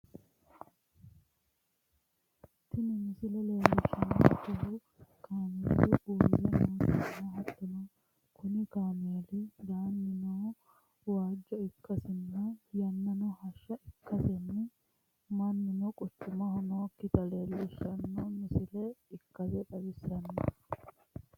tini misile leellishshannohu kaameelu uurre nootanna, hattono kuni kaameeli danino waajjo ikkasinna ,yannano hashsha ikkasenni mannuno quchumaho nookkita leellishshanno misile ikkase xawissanno.